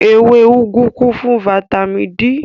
Ewé úgú kún fún fataímìn D.